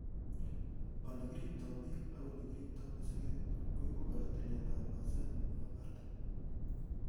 Ele kiripto biik ak ole kiribto mosiget koibu kora tiletab pasen nebo artam.